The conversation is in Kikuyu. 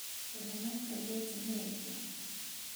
ũrĩa mahikagia atumia aingĩ